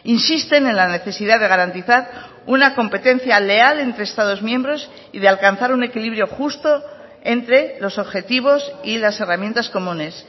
insisten en la necesidad de garantizar una competencia leal entre estados miembros y de alcanzar un equilibrio justo entre los objetivos y las herramientas comunes